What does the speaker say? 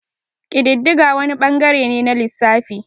Kididdiga wani ɓangare ne na lissafi.